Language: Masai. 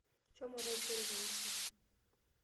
Shomo taisere kanisa.